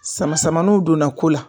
Sama samanuw donna ko la